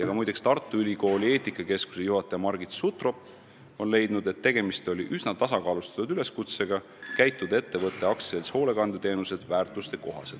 Muide, ka Tartu Ülikooli eetikakeskuse juhataja Margit Sutrop on leidnud, et tegemist oli üsna tasakaalustatud üleskutsega käituda vastavalt ettevõtte AS Hoolekandeteenused väärtustele.